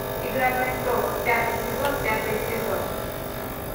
игра престолов пятый сезон пятый эпизод